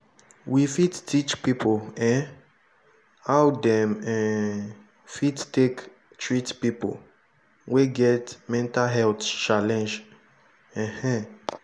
we fit teach pipo um how dem um fit take treat pipo wey get mental health challenge um